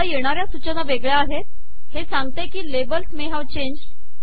आता येणार्या सूचना वेगळ्या आहेत हे सांगते की लेबल्स मे हावे चेंज्ड